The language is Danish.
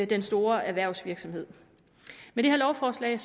den store erhvervsvirksomheds med det her lovforslag